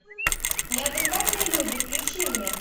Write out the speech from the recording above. неадекватные люди включи мне